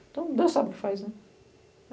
Então, Deus sabe o que faz, né?